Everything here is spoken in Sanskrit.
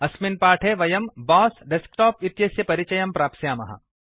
अस्मिन् पाठे वयं बॉस डेस्कटॉप इत्यस्य परिचयं प्राप्स्यामः